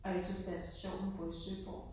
Og jeg synes det er så sjovt hun bor i Søborg